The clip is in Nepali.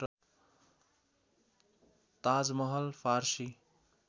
ताज महल फारसी